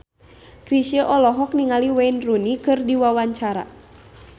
Chrisye olohok ningali Wayne Rooney keur diwawancara